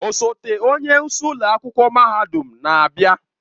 Osote onye isi ụlọ akwụkwọ mahadum na-abịa.